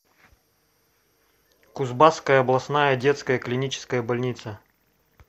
кузбасская областная детская клиническая больница